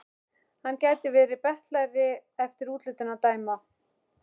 Hann gæti verið betlari eftir útlitinu að dæma.